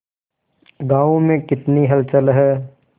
गांव में कितनी हलचल है